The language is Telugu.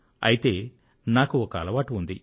అయితే నాకు ఒక అలవాటు ఉంది